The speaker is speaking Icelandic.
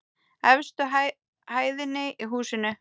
Efstu hæðinni í húsinu.